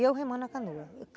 E eu remando a canoa.